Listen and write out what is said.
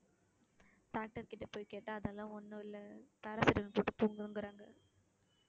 doctor கிட்ட போய் கேட்டா அதெல்லாம் ஒண்ணும் இல்லை paracetamol போட்டு தூங்குங்கறாங்க